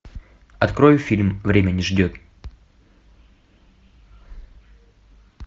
открой фильм время не ждет